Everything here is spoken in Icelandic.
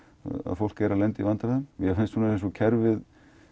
fólk er að lenda í vandræðum mér finnst eins og kerfið